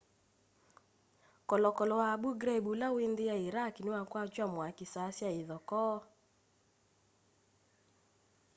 kolokolo wa abu ghraib ula wĩ nthi ya iraq niwakwatw'a mwaki saa sya ithokoo